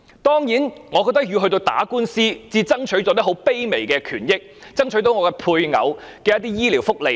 當然，我感慨，他竟然要打官司，才爭取到一些很卑微的權益，爭取到配偶一些醫療福利。